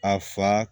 A fa